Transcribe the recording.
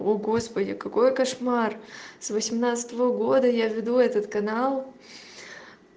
о господи какой кошмар с восемнадцатого года я веду этот канал